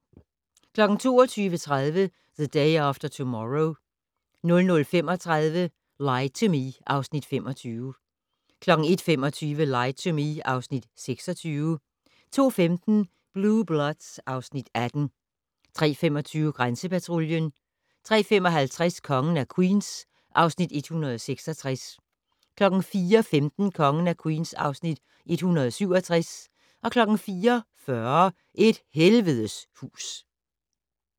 22:30: The Day After Tomorrow 00:35: Lie to Me (Afs. 25) 01:25: Lie to Me (Afs. 26) 02:15: Blue Bloods (Afs. 18) 03:25: Grænsepatruljen 03:55: Kongen af Queens (Afs. 166) 04:15: Kongen af Queens (Afs. 167) 04:40: Et helvedes hus